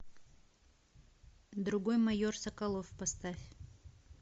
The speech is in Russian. другой майор соколов поставь